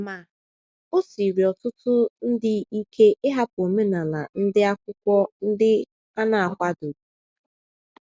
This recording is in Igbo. Ma, o siiri ọtụtụ ndị ike ịhapụ omenala ndị Akwụkwọ ndi a na - akwadoghị.